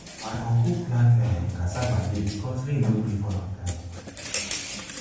my uncle plant um cassava late cos rain no gree fall ontime. um